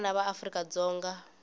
vamanana va afrika dzonga